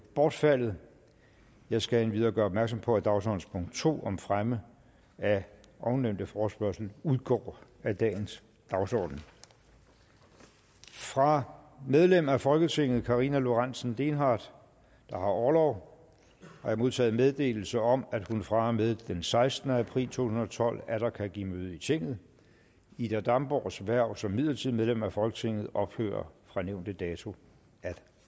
bortfaldet jeg skal endvidere gøre opmærksom på at dagsordenens to om fremme af ovennævnte forespørgsel udgår af dagens dagsorden fra medlem af folketinget karina lorentzen dehnhardt der har orlov har jeg modtaget meddelelse om at hun fra og med den sekstende april to tusind og tolv atter kan give møde i tinget ida damborgs hverv som midlertidigt medlem af folketinget ophører fra nævnte dato at